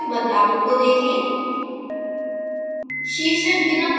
output में बदलावों को देखें